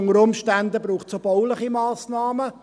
Unter Umständen bräuchte es auch bauliche Massnahmen.